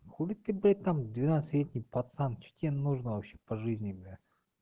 хули ты блять там двенадцатилетний пацан что нужно вообще по жизни бля